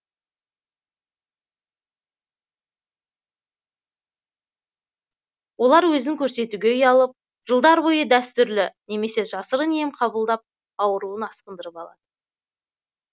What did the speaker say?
олар өзін көрсетуге ұялып жылдар бойы дәстүрлі немесе жасырын ем қабылдап ауруын асқындырып алады